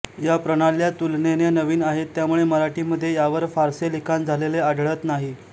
या प्रणाल्या तुलनेने नवीन आहेत त्यामुळे मराठी मध्ये यावर फारसे लिखाण झालेले आढळत नाही